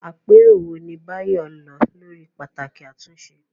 Àpérò wo ni Bayo lọ lórí pàtàkì àtúnṣe?